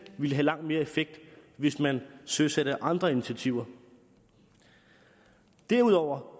det ville have langt mere effekt hvis man søsætte andre initiativer derudover